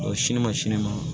Ɔ sini ma sini ma